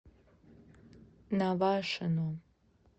навашино